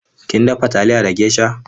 Kin dafa taliya da geisha?